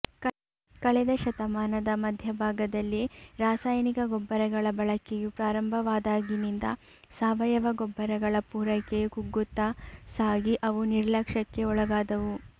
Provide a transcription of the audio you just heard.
ಕಳೆದಶತಮಾನದ ಮಧ್ಯ ಭಾಗದಲ್ಲಿ ರಾಸಾಯನಿಕ ಗೊಬ್ಬರಗಳ ಬಳಕೆಯು ಪ್ರಾರಂಭವಾದಾಗಿನಿಂದ ಸಾವಯವ ಗೊಬ್ಬರಗಳ ಪೂರೈಕೆಯು ಕುಗ್ಗುತ್ತ ಸಾಗಿ ಅವು ನಿರ್ಲಕ್ಷ್ಯಕ್ಕೆ ಒಳಗಾದವು